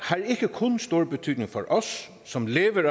kun stor betydning for os som lever af